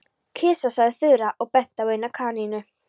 Kisa sagði Þura og benti á eina kanínuna.